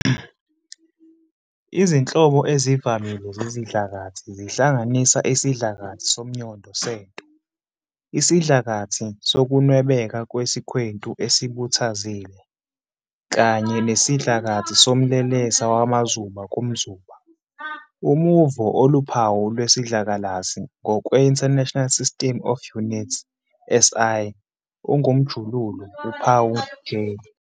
Izinhlobo ezivamile zezidlakathi zihlanganisa isidlakathi somnyondo sento, isidlakathi sokunwebeka kwesikhwentu esibhuthazile, kanye nesidlakathi somlelesa wamazuba kumzuba. Umuvo oluphawu lwesidlakalasi ngokwe- International System of Units, SI, ungumJulu, uphawu J.